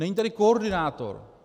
Není tady koordinátor.